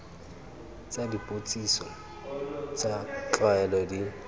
tsa dipotsiso tsa tlwaelo di